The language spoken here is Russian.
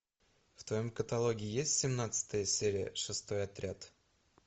в твоем каталоге есть семнадцатая серия шестой отряд